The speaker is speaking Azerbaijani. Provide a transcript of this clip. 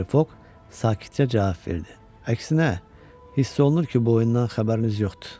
Mister Foq sakitcə cavab verdi: Əksinə, hiss olunur ki, bu oyundan xəbəriniz yoxdur.